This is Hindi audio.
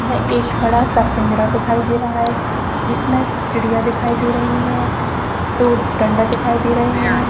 एक बड़ा सा पिंजरा दिखाई दे रहा है जिसमें चिड़िया दिखाई दे रही है दो डंडा दिखाई दे रहे है।